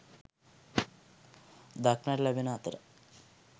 දක්නට ලැබෙන අතර